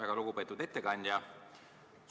Väga lugupeetud ettekandja!